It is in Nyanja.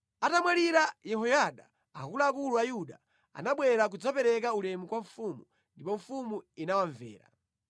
Atamwalira Yehoyada, akuluakulu a Yuda anabwera kudzapereka ulemu kwa mfumu, ndipo mfumu inawamvera.